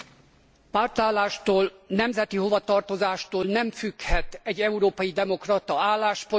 Pártállástól, nemzeti hovatartozástól nem függhet egy európai demokrata álláspontja.